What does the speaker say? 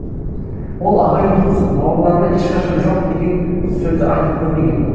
ол ағайын туыс бауырларына ешқашан жоқ деген сөзді айтып көрмеген